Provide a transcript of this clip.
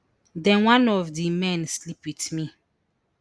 den one of di men sleep wit me